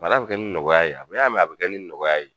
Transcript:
bi kɛ ni nɔgɔya ye, a bi kɛ ni nɔgɔya ye